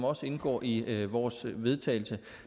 også indgår i vores vedtagelse